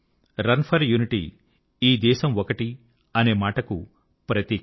run for unity ఈ దేశం ఒక్కటి అనే మాటకు ప్రతీక